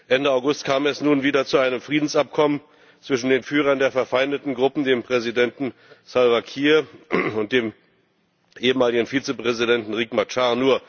Ende August kam es nun wieder zu einem Friedensabkommen zwischen den Führern der verfeindeten Gruppen, dem Präsidenten Salva Kiir und dem ehemaligen Vizepräsidenten Riek Machar.